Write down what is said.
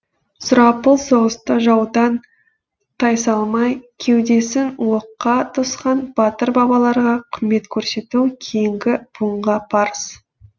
сұрапыл соғыста жаудан тайсалмай кеудесін оққа тосқан батыр бабаларға құрмет көрсету кейінгі буынға парыз